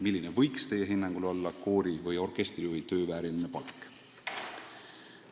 Milline võiks Teie hinnangul olla koori- või orkestrijuhi töö vääriline palk?